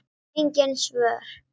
Engin svör.